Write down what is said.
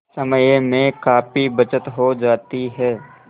समय में काफी बचत हो जाती है